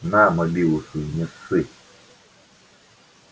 на мобилу свою не ссы